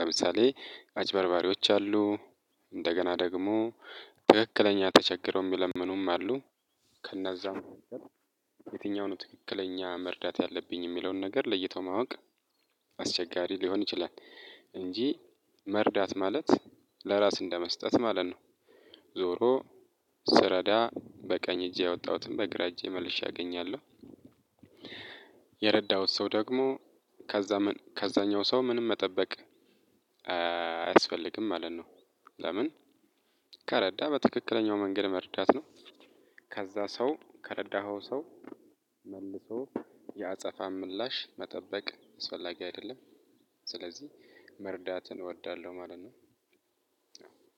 ለምሳሌ አጭበርባሪወች አሉ። እንደገና ደግሞ ትክክለኛ ተቸግረው የሚለምኑም አሉ። ከነዛም የትኛው ነው ትክክለኛ መርዳት ያለብኝ የሚለውን ነገር ለይቶ ማወቅ። አስቸጋሪ ሊሆን ይችላል። እንጂ መርዳት ማለት ለራስ እንደመስጠት ማለት ነው። ዞሮ ስረዳ በቀኝ እጅ ያወጣሁትን በግራ እጄ መልሼ አገኛለሁ። የረዳሁት ሰው ደግሞ ከዛ ከዛኛው ሰው ምንም መጠበቅ አያስፈልግም ማለት ነው። ለምን? ከረዳ በትክክለኛው መንገድ መርዳት ነው። ከዛ ሰው ከረዳኸው ሰው መልሶ ያአጸፋ ምላሽ መጠበቅ አስፈላጊ አይደለም። ስለዚህ መርዳትን እወዳለሁ ማለት ነው።